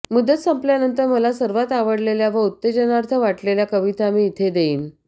मुदत संपल्यानंतर मला सर्वात आवडलेल्या व उत्तेजनार्थ वाटलेल्या कविता मी इथे देईन